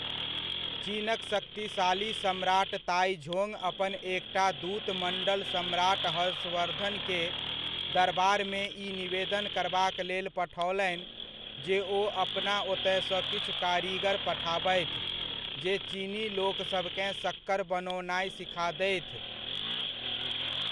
चीनक शक्तिशाली सम्राट ताइझोंग अपन एकटा दूतमंडल सम्राट हर्षवर्धन के दरबारमे ई निवेदन करबाक लेल पठओलनि जे ओ अपना ओतयसँ किछु कारीगर पठाबथि जे चीनी लोकसभकेँ शक्कर बनओनाय सिखा देथि।